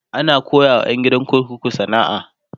ana koyawa ƴan gidan kurkuku sana'a